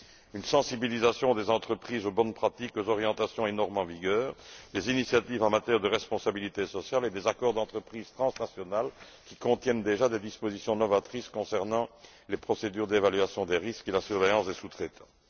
une sensibilisation des entreprises aux bonnes pratiques, des orientations et normes en vigueur, des initiatives en matière de responsabilité sociale et des accords d'entreprise transnationaux qui contiennent déjà des dispositions novatrices concernant les procédures d'évaluation du risque et la surveillance des sous traitants.